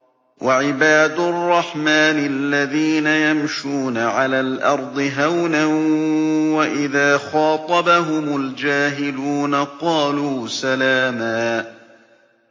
وَعِبَادُ الرَّحْمَٰنِ الَّذِينَ يَمْشُونَ عَلَى الْأَرْضِ هَوْنًا وَإِذَا خَاطَبَهُمُ الْجَاهِلُونَ قَالُوا سَلَامًا